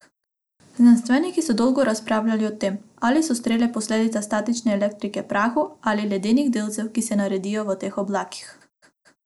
Znanstveniki so dolgo razpravljali o tem, ali so strele posledica statične elektrike prahu ali ledenih delcev, ki se naredijo v teh oblakih.